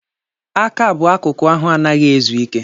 Aka bụ akụkụ ahụ anaghị ezu ike.